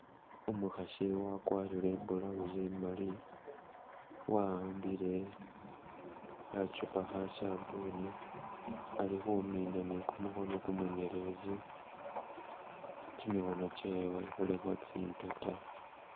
Umukhasi wakwarire I blouse imali wa'ambile khachupa kha sabuuni ali khumina ne kumukhono kumunyeletsi , kimikhono kyewe khulikho tsi mpeta.